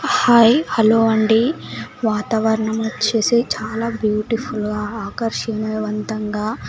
hi hello అండి వాతావరణం వచ్చేసి చాలా బ్యూటిఫుల్గా ఆకర్షిణయవంతంగా--